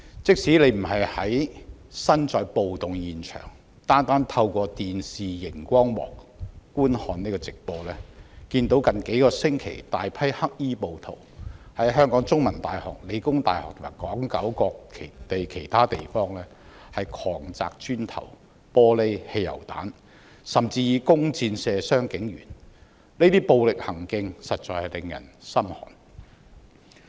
即使不是身處暴動現場，單單透過電視熒光幕觀看直播，也看到近數星期大批黑衣暴徒在香港中文大學、香港理工大學，以及港九其他地方狂擲磚頭、玻璃、汽油彈，甚至以弓箭射傷警員，這些暴力行徑實在令人心寒。